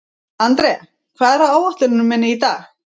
André, hvað er á áætluninni minni í dag?